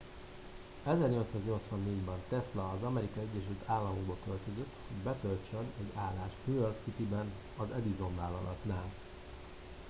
1884 ben tesla az amerikai egyesült államokba költözött hogy betöltsön egy állást new york cityben az edison vállalatnál